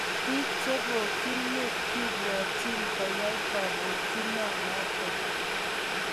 Bik chepokyin mut kibwotyin koyai kobokyino noton.